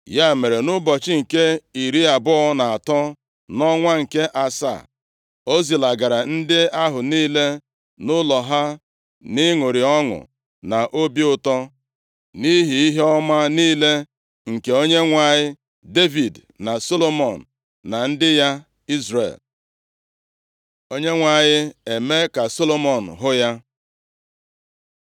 Ya mere, nʼụbọchị nke iri abụọ na atọ nʼọnwa nke asaa, o zilagara ndị ahụ niile nʼụlọ ha, nʼịṅụrị ọṅụ na obi ụtọ nʼihi ihe ọma niile nke Onyenwe anyị Devid na Solomọn na ndị ya Izrel. Onyenwe anyị e mee ka Solomọn hụ ya